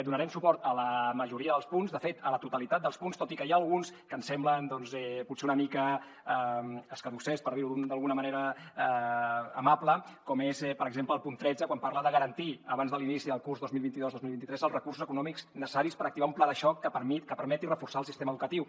donarem suport a la majoria dels punts de fet a la totalitat dels punts tot i que n’hi ha alguns que ens semblen doncs potser una mica escadussers per dir ho d’alguna manera amable com és per exemple el punt tretze quan parla de garantir abans de l’inici del curs dos mil vint dos dos mil vint tres els recursos econòmics necessaris per activar un pla de xoc que permeti reforçar el sistema educatiu